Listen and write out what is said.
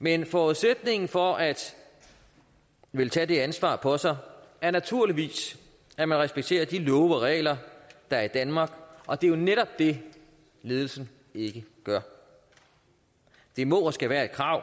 men forudsætningen for at ville tage det ansvar på sig er naturligvis at man respekterer de love og regler der er i danmark og det er jo netop det ledelsen ikke gør det må og skal være et krav